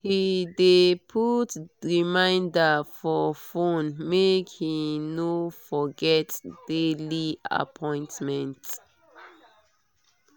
he dey put reminder for phone make he no forget daily appointment.